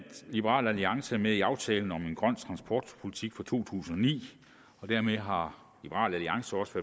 liberal alliance er med i aftalen om en grøn transportpolitik fra to tusind og ni og dermed har liberal alliance også